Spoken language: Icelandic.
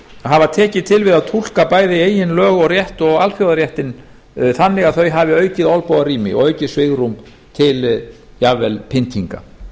hafa tekið til við að túlka bæði eigin lög og rétt og alþjóðaréttinn þannig að þau hafi aukið olnbogarými og aukið svigrúm til jafnvel pyntinga